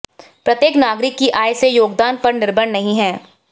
प्रत्येक नागरिक की आय से योगदान पर निर्भर नहीं है